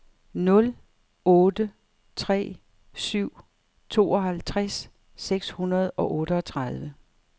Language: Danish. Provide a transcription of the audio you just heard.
nul otte tre syv tooghalvtreds seks hundrede og otteogtredive